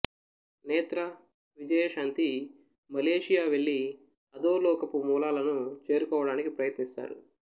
నేత్ర విజయశాంతి మలేషియా వెళ్ళి అధోలోకపు మూలాలను చేరుకోవడానికి ప్రయత్నిస్తారు